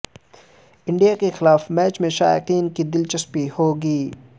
India کے خلاف match میں شائقین کی دلچسپی ہوگی